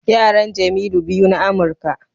Yaran Jemilu biyu na Amurka.